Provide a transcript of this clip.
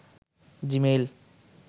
Gmail